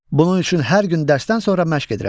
Bunun üçün hər gün dərsdən sonra məşq edirəm.